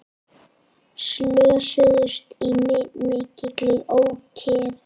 Slösuðust í mikilli ókyrrð